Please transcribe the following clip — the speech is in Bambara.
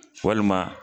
Walima